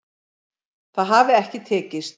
Það hafi ekki tekist